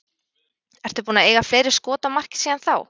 Ertu búinn að eiga fleiri skot á markið síðan þá?